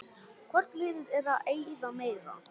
Hvort liðið er að eyða meira?